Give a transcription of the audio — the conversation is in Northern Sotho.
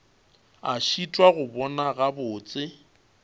a šitwa go bona gabotse